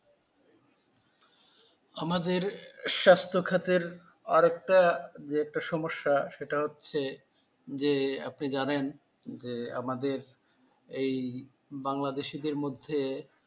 আমাদের স্বাস্থ্য খাতের আরেকটা যেটা সমস্যা সেটা হচ্ছে যে আপনি জানেন যে আমাদের এই বাংলাদেশিদের মধ্যে,